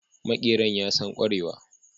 Makeran ya San kerawa.